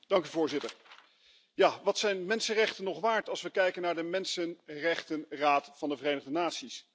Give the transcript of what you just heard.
Voorzitter, ja, wat zijn mensenrechten nog waard als we kijken naar de Mensenrechtenraad van de Verenigde Naties?